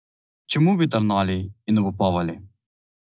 Čemu bi tarnali in obupovali?